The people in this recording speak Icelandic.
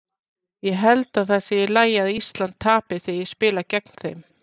Ég held að það sé í lagi að Ísland tapi þegar ég spila gegn þeim.